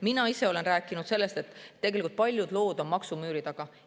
Mina ise olen rääkinud sellest, kuidas paljud lood on maksumüüri taga.